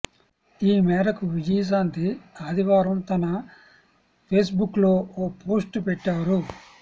ఈ మేరకు విజయశాంతి ఆదివారం తన ఫేస్బుక్లో ఓ పోస్టు పెట్టారు